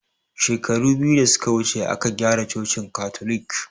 Shekaru biyu da suke wuce aka gyara cocin katolik